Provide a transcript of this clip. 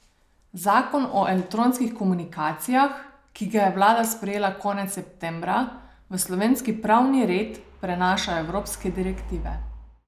Zakon o elektronskih komunikacijah, ki ga je vlada sprejela konec septembra, v slovenski pravni red prenaša evropske direktive.